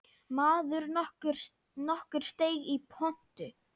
Maður nokkur steig í pontu.